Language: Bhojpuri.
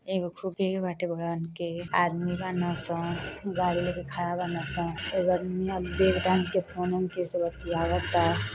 एगो आदमी बाड़सन गाड़ी लेके खड़ा बाड़सन। एगो अदमिया बेग टांग के फोनवो में केहु से बतियावता।